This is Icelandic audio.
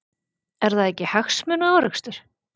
Er það ekki hagsmunaárekstur?